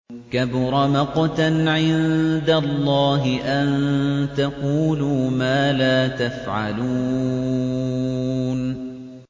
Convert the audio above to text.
كَبُرَ مَقْتًا عِندَ اللَّهِ أَن تَقُولُوا مَا لَا تَفْعَلُونَ